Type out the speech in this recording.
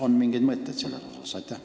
On teil mingeid mõtteid selles osas?